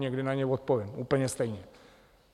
Někdy na ně odpovím úplně stejně.